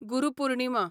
Guru Purnima